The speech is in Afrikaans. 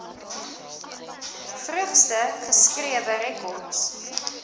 vroegste geskrewe rekords